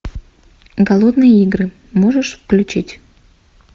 голодные игры можешь включить